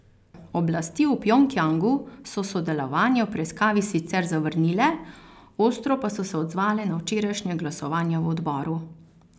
Oblasti v Pjongjangu so sodelovanje v preiskavi sicer zavrnile, ostro pa so se odzvale na včerajšnje glasovanje v odboru.